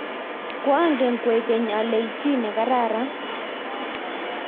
koangen kwekeny ale ichi chii ne kararan